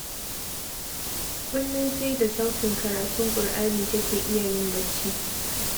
Kullum sai da sautin karatun Ƙur'ani take iya yin bacci